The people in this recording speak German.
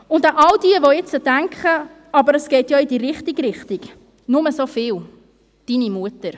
An all jene, die jetzt denken, «Aber es geht ja in die richtige Richtung», nur so viel: deine Mutter!